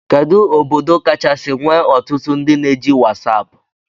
Kedu obodo kachasi nwee ọtụtụ ndị na-eji wasapu?